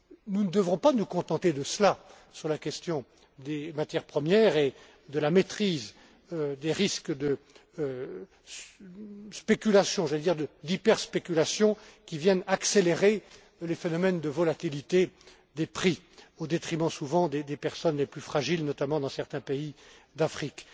Nous ne devrons pas nous contenter de cela sur la question des matières premières et de la maîtrise des risques de spéculation j'allais dire d'hyperspéculation qui viennent accélérer les phénomènes de volatilité des prix, au détriment souvent des personnes les plus fragiles, notamment dans certains pays d'Afrique.